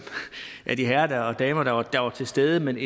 af de herrer og damer der var der var til stede men